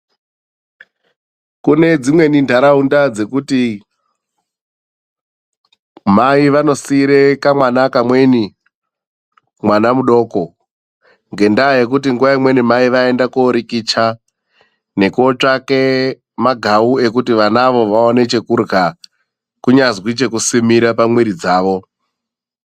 Kune dzimweni ntaraunda dzekuti mai vanosiire kamwana kamweni mwana mudoko ngendaa yekuti nguwa imweni, mai vaenda korikicha, nekotsvake magau ekuti vanavo vaone chekurya, kunyazi chekusimira pamwiri dzavo.